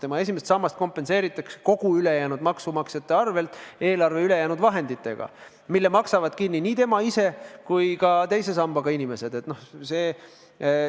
Tema esimest sammast kompenseeritakse kõigi ülejäänud maksumaksjate arvel eelarve ülejäänud vahenditega, mille maksavad kinni nii tema ise kui ka teise sambaga ühinenud inimesed.